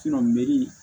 meri